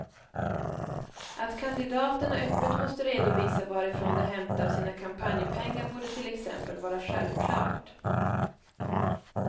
Att kandidaterna öppet måste redovisa varifrån de hämtar sina kampanjpengar borde till exempel vara självklart.